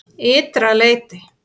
Ytra leyti